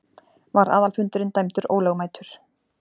Var aðalfundurinn dæmdur ólögmætur.